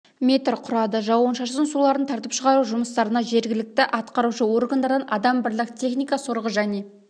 метр құрады жауын-шашын суларын тартып шығару жұмыстарына жергілікті атқарушы органдардан адам бірлік техника сорғы және